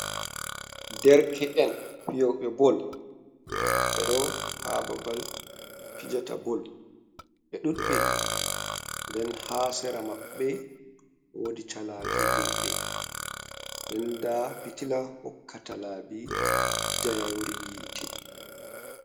Derke'en fiyoɓe bol, ɓe ɗo ha babal fijata bol, ɓe ɗuɗɓe. Nden ha sera maɓɓe wodi calaje himɓe nden nda pitila hokkata laabi njayri yiite.